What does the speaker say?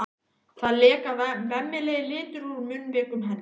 Það leka vemmilegir litir úr munnvikum hennar.